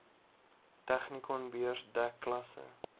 technikonbeurs dek klasse